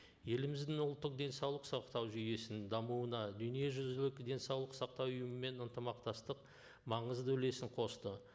еліміздің ұлттық денсаулық сақтау жүйесінің дамуына дүниежүзілік денсаулық сақтау ұйымымен ынтымақтастық маңызды үлесін қосты